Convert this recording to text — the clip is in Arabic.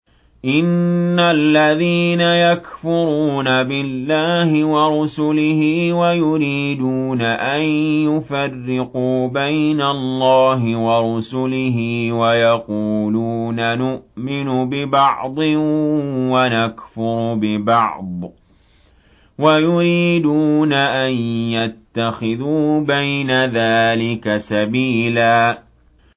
إِنَّ الَّذِينَ يَكْفُرُونَ بِاللَّهِ وَرُسُلِهِ وَيُرِيدُونَ أَن يُفَرِّقُوا بَيْنَ اللَّهِ وَرُسُلِهِ وَيَقُولُونَ نُؤْمِنُ بِبَعْضٍ وَنَكْفُرُ بِبَعْضٍ وَيُرِيدُونَ أَن يَتَّخِذُوا بَيْنَ ذَٰلِكَ سَبِيلًا